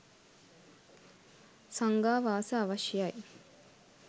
සංඝාවාස අවශ්‍ය යි.